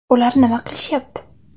Ular nima qilishyapti?